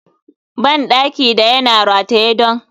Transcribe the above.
bandaki da yana rataye don